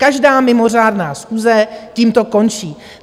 Každá mimořádná schůze tímto končí.